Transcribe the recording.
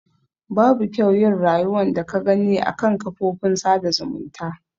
Babu kyau yin rayuwan da ka Gani a kan kafofin sada zumunta.